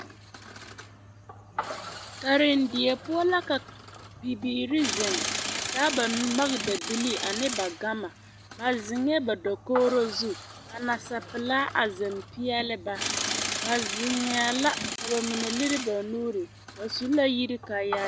karendie poɔ la ka bibiiri zeŋ a taa ba magedabili ane ba gama ba zeŋ dakogro zu ka nasapelaa a zeŋ peɛle ba, ba zeŋɛɛ la ka bamine lere ba nuuri bare ba su la yiri kaayaa